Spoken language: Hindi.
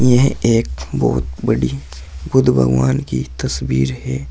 यह एक बहोत बड़ी बुद्ध भगवान की तस्वीर है।